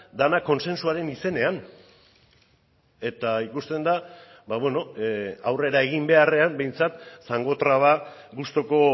dena kontsentsuaren izenean eta ikusten da aurrera egin beharrean behintzat zangotraba gustuko